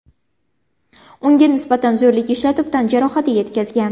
Unga nisbatan zo‘rlik ishlatib, tan jarohati yetkazgan.